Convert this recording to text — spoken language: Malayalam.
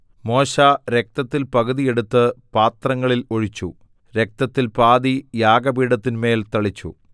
മോശെ രക്തത്തിൽ പകുതി എടുത്ത് പാത്രങ്ങളിൽ ഒഴിച്ചു രക്തത്തിൽ പാതി യാഗപീഠത്തിന്മേൽ തളിച്ചു